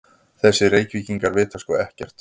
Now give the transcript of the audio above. Þessir Reykvíkingar vita sko ekkert!